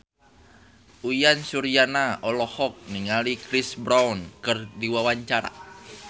Uyan Suryana olohok ningali Chris Brown keur diwawancara